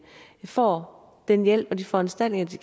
får den hjælp og de foranstaltninger de